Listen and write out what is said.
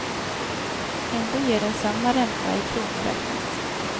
Ändå ger den samma ränta i kronor räknat.